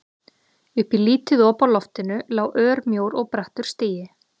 Upp í lítið op á loftinu lá örmjór og brattur stigi.